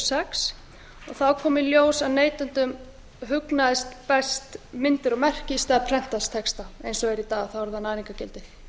sex þá kom í ljós að neytendum hugnuðust best myndir og merki í stað prentaðs texta eins og það er í dag þá er það næringargildi